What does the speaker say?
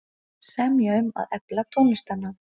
Semja um að efla tónlistarnám